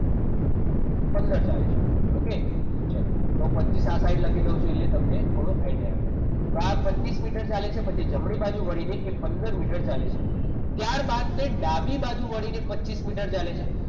પંદર ચાલે છે okay ચાલો તો બસ્સો ચપન લખી દઉં છું એટલે તમને થોડો idea આવે તો આ પચીસ મીટર ચાલે છે તો જમણી બાજુ વળીને એ પંદર મીટર ચાલે છે ત્યારબાદ તે ડાબી બાજુ વળીને પચીસ મીટર ચાલે છે